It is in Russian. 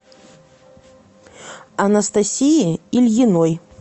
анастасии ильиной